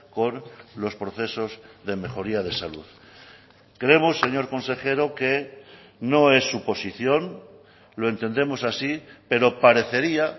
con los procesos de mejoría de salud creemos señor consejero que no es suposición lo entendemos así pero parecería